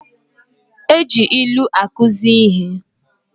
E ji ilu akuzi ihe.